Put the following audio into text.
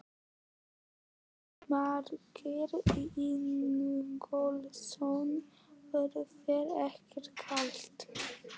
Jónas Margeir Ingólfsson: Var þér ekkert kalt?